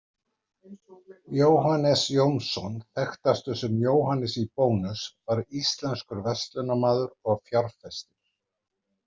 Jóhannes Jónsson, þekktastur sem „Jóhannes í Bónus“, var íslenskur verslunarmaður og fjárfestir.